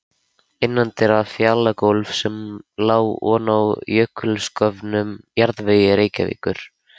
Innandyra fjalagólf sem lá oná jökulsköfnum jarðvegi Reykjavíkur.